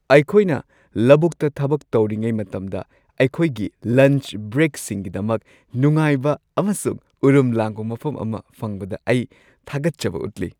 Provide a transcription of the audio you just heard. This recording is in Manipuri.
ꯑꯩꯈꯣꯏꯅ ꯂꯧꯕꯨꯛꯇ ꯊꯕꯛ ꯇꯧꯔꯤꯉꯩ ꯃꯇꯝꯗ ꯑꯩꯈꯣꯏꯒꯤ ꯂꯟꯆ ꯕ꯭ꯔꯦꯛꯁꯤꯡꯒꯤꯗꯃꯛ ꯅꯨꯡꯉꯥꯏꯕ ꯑꯃꯁꯨꯡ ꯎꯔꯨꯝ ꯂꯥꯡꯕ ꯃꯐꯝ ꯑꯃ ꯐꯪꯕꯗ ꯑꯩ ꯊꯥꯒꯠꯆꯕ ꯎꯠꯂꯤ ꯫